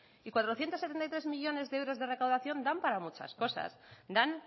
y cuatrocientos setenta y tres millónes de euros de recaudación dan para muchas cosas dan